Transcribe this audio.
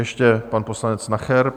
Ještě pan poslanec Nacher.